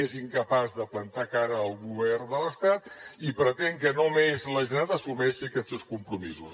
és incapaç de plantar cara al govern de l’estat i pretén que només la generalitat assumeixi aquests dos compromisos